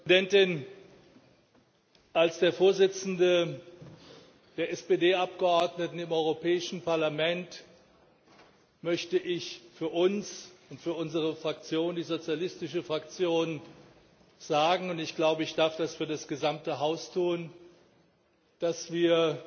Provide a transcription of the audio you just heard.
Frau Präsidentin! Als der Vorsitzende der SPD Abgeordneten im Europäischen Parlament möchte ich für uns und für unsere Fraktion, die Sozialistische Fraktion, sagen und ich glaube, ich darf das für das gesamte Haus tun dass wir